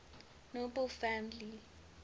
nobel family